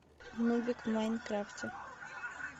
нубик в майнкрафте